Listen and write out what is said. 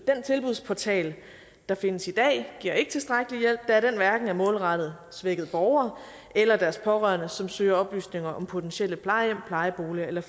den tilbudsportal der findes i dag giver ikke tilstrækkelig hjælp da den hverken er målrettet svækkede borgere eller deres pårørende som søger oplysninger om potentielle plejehjem plejeboliger eller